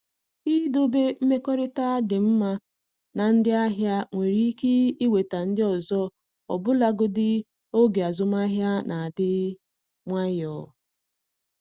Idobe mmekọrịta dị mma na ndị ahịa nwere ike iweta ndị ọzọ ọbụlagodi n’oge azụmahịa na-adị nwayọ.